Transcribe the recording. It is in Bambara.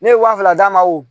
Ne ye waa fila d'a ma